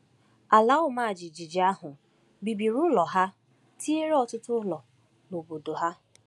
Ala ọma jijiji ahụ bibiri ụlọ ha tinyere ọtụtụ ụlọ n’obodo ha.